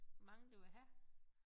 Hvor mange du vil have